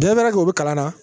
u bɛ kalan na